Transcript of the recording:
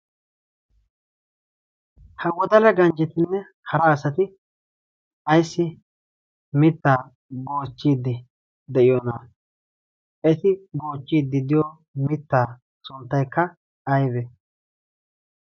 ha wodala ganjjetinne hara asati ayssi mittaa boochchiiddi de'iyoonaa eti boochchiiddi diyo mittaa sunttaikka awe